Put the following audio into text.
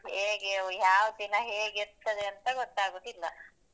ಹೇಗೆ ಯಾವ್ ದಿನ ಹೇಗೆ ಇರ್ತ್ತದೆ ಅಂತ ಗೊತ್ತಾಗುದಿಲ್ಲ.